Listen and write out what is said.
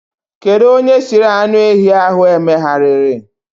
Kedu onye siri anụ ehi ahụ emegharịrị?